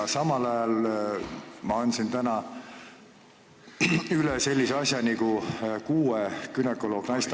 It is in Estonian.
Ja samal ajal ma andsin täna üle sellise asja nagu kuue günekoloogi pöördumise ...